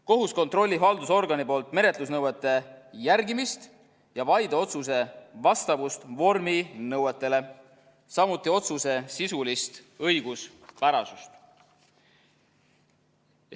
Kohus kontrollib haldusorgani menetlusnõuete järgimist ja vaideotsuse vastavust vorminõuetele, samuti otsuse sisulist õiguspärasust.